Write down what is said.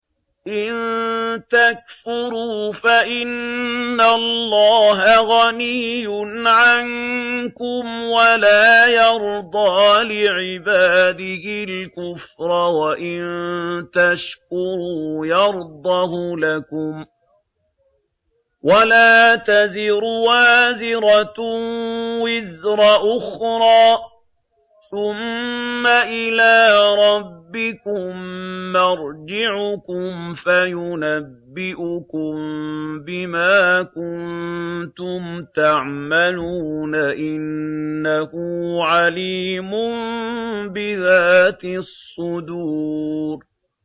إِن تَكْفُرُوا فَإِنَّ اللَّهَ غَنِيٌّ عَنكُمْ ۖ وَلَا يَرْضَىٰ لِعِبَادِهِ الْكُفْرَ ۖ وَإِن تَشْكُرُوا يَرْضَهُ لَكُمْ ۗ وَلَا تَزِرُ وَازِرَةٌ وِزْرَ أُخْرَىٰ ۗ ثُمَّ إِلَىٰ رَبِّكُم مَّرْجِعُكُمْ فَيُنَبِّئُكُم بِمَا كُنتُمْ تَعْمَلُونَ ۚ إِنَّهُ عَلِيمٌ بِذَاتِ الصُّدُورِ